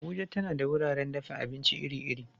Abuja tana da wuraren dafa abinci iri-iri.